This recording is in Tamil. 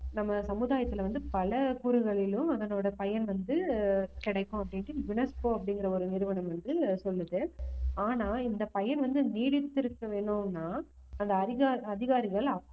நம்ம சமுதாயத்துல வந்து பல கூறுகளிலும் அதனோட பயன் வந்து ஆஹ் கிடைக்கும் அப்படின்னுட்டு UNESCO அப்படிங்கிற ஒரு நிறுவனம் வந்து சொல்லுது ஆனா இந்த பயன் வந்து நீடித்திருக்க வேணும்ன்னா அந்த அதிகா~ அதிகாரிகள்